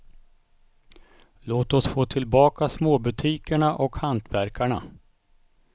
Låt oss få tillbaka småbutikerna och hantverkarna.